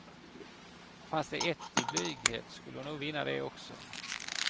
Fanns det ett i blyghet skulle hon nog vinna det också.